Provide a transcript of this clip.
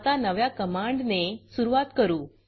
आता नव्या कमांडने सुरूवात करू